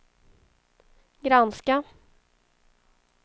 granska